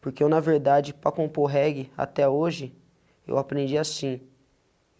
Porque eu, na verdade, para compor reggae, até hoje, eu aprendi assim.